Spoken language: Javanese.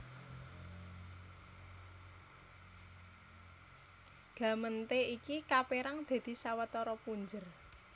Gemeente iki kapérang dadi sawetara punjer